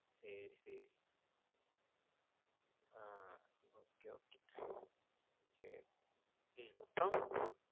சேரி சேரி. ஆ okay okay ஆ அப்புறம்?